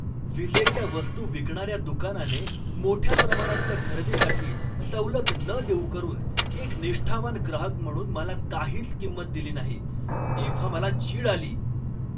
विजेच्या वस्तू विकणाऱ्या दुकानाने मोठ्या प्रमाणातल्या खरेदीसाठी सवलत न देऊ करून एक निष्ठावान ग्राहक म्हणून मला काहीच किंमत दिली नाही, तेव्हा मला चीड आली.